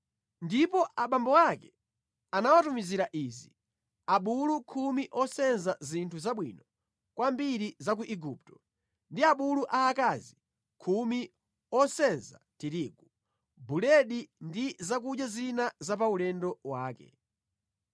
Ndipo abambo ake anawatumizira izi: abulu khumi osenza zinthu zabwino kwambiri za ku Igupto, ndi abulu aakazi khumi osenza tirigu, buledi ndi zakudya zina za pa ulendo wake.